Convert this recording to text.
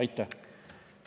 Aitäh!